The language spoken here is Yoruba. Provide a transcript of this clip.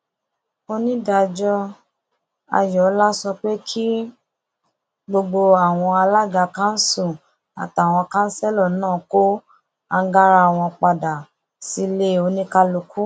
onídàájọ ayọọlá sọ pé kí gbogbo àwọn alága kanṣu àtàwọn kanṣẹlò náà kó àǹgára wọn padà sílẹ oníkálukú